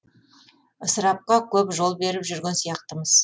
ысырапқа көп жол беріп жүрген сияқтымыз